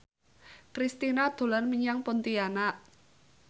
Kristina dolan menyang Pontianak